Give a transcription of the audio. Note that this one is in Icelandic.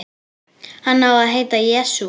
Hann á að heita Jesú.